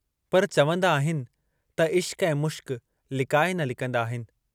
पर चवंदा आहिनि त इश्कु ऐं मुश्क लिकाए न लिकंदा आहिनि।